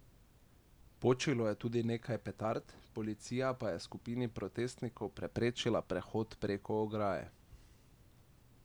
Počilo je tudi nekaj petard, policija pa je skupini protestnikov preprečila prehod preko ograje.